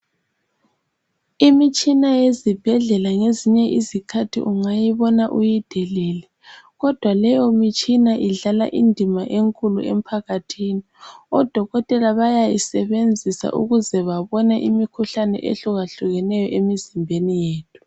Imitshina yasesibhedlela kwesinye iskhathi ungayibona uyidelele kodwa leyi mitshina idlala indima enkulu emphakathini odokotela bayayisebenzisa ukuze babone imikhuhlane ehlukahlukeneyo emizimbeni yethu